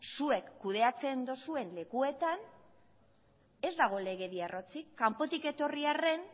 zuek kudeatzen duzuen lekuetan ez dago legedia arrotzik kanpotik etorri arren